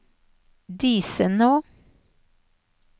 Disenå